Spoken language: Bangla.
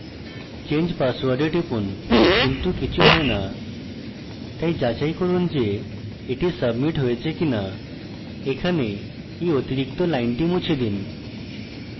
change password we টিপুন কিন্তু কিছু has so তাই যাচাই করুন যে এটি submit হয়েছে কিনা এখানে এই অতিরিক্ত লাইনটি মুছে দিন